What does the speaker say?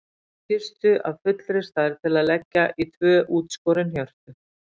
Kistu af fullri stærð til að leggja í tvö útskorin hjörtu.